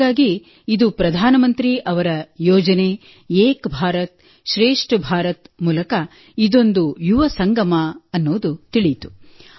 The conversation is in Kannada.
ಹಾಗಾಗಿ ಇದು ಪ್ರಧಾನಮಂತ್ರಿ ಅವರ ಯೋಜನೆ ಏಕ್ ಭಾರತ್ ಶ್ರೇಷ್ಠ ಭಾರತ್ ಮೂಲಕ ಇದೊಂದು ಯುವ ಸಂಗಮ ಎಂಬುದು ತಿಳಿಯಿತು